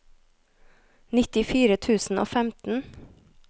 nittifire tusen og femten